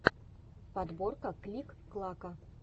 подборка клик клака